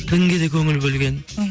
дінге де көңіл бөлген мхм